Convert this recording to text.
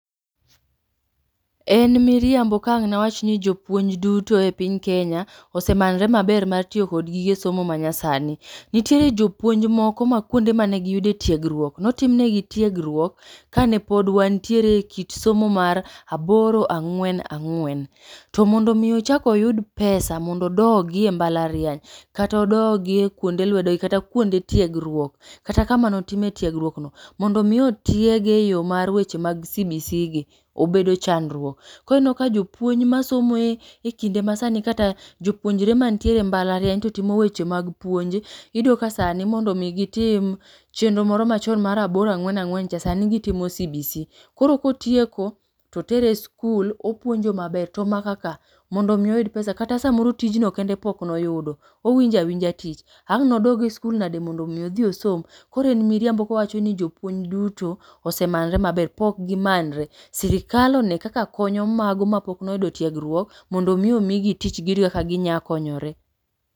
En miriambo ka ang'ne awachni jopuonj duto epiny Kenya osemanore maber mar tiyo kod gige somo manyasani. Nitiere jopuonj moko ma kuonde mane giyude etiegruok notimone gi tiegruok kane pod wantiere ekit somo mar aboro ang'wen ang'wen. To mondo mi ochak oyud pesa mondo odogie e mbalariany kata odogi kuonde lewdogi kata kunde tiegruok kata kama notime tiegruokno mondo mi otiege eyo mar eweche mag sibisigi obedo chandruok. Koro inenoka jopuonj masomo ekinde masanigi kata jopuonjre mantiere embalariany totimo weche mag puonj iyudo kasani mondo mi gitim chenro moro machon mar aboro ang'wen ang'wencha sani gitimo sibisi. Koro kotieko totere eskul opuonjo maber to makaka mondo mi oyud pesa kata samoro kata tijno kende pokno yudo owinjo awinja tich ang'ne odog eskul nade mondo mi odhi osom. Koro en miriambo kowachoni jopuonj duto osemanore maber pok gimannre. Sirikal one kaka konyo mago mapokno yudo tiegruok mondo mi omigi tich giyud kaka ginya konyore.